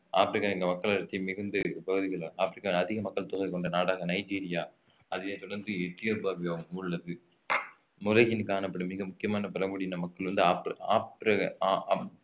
ஆப்பிரிக்காவின் மக்களடர்த்தி மிகுந்த பகுதிகளாகும் ஆப்ரிக்கா அதிக மக்கள் தொகை கொண்ட நாடாக நைஜீரியா அதனை தொடர்ந்து எத்தியோப்பியாவும் உள்ளது உலகில் காணப்படும் மிக முக்கியமான பழங்குடியின மக்கள் வந்து